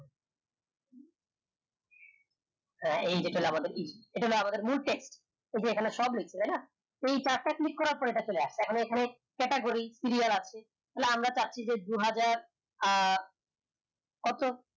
এই যে আমাদের ই এটা আমাদের মূল টেক ওই যে ওই খানে সব লেখছে তাই না এই চারটা click করার পরে চলে এটা আসে এখন এখানে category serial আছে তাইলে আমরা চাচ্ছি যে দু হাজার আহ কত